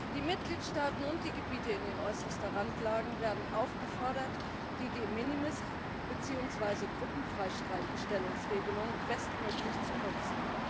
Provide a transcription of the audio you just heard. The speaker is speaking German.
Die Mitgliedstaaten und die Gebiete in äußerster Randlage werden aufgefordert, die De minimis beziehungsweise Gruppenfreistellungsregelung bestmöglich zu nutzen.